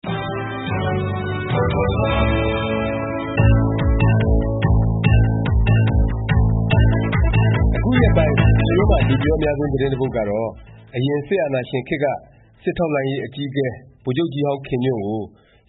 အခုရက်ပိုင်း ပြည်တွင်းမှာ လူပြောအများဆုံး သတင်းတစ်ပုဒ်ကတော့ အရင် စစ်အာဏာရှင်ခေတ်က စစ်ထောက်လှမ်းရေး အကြီးအကဲ ဗိုလ်ချုပ်ကြီးဟောင်း ခင်ညွန့်ကို